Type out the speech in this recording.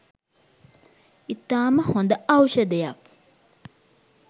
ඉතාම හොඳ ඖෂධයක්